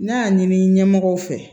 N'a y'a ɲini ɲɛmɔgɔw fɛ